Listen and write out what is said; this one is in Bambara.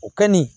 O kɛ nin